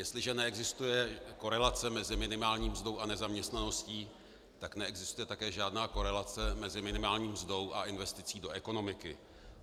Jestliže neexistuje korelace mezi minimální mzdou a nezaměstnaností, tak neexistuje také žádná korelace mezi minimální mzdou a investicí do ekonomiky.